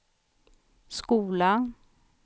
skola